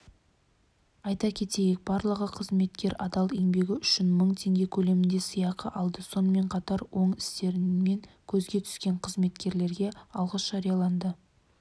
айта кетейік барлығы қызметкер адал еңбегі үшін мың теңге көлемінде сыйақы алды сонымен қатар оң істерімен көзге түскен қызметкерге алғыс жарияланды